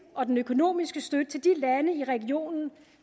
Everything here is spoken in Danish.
og den økonomiske støtte til de lande i regionen